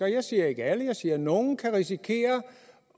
jeg siger ikke alle jeg siger nogle kan risikere